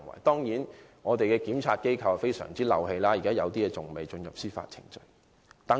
當然，我們的檢察機構處理此事的效率甚低，有些案件至今還未進入司法程序。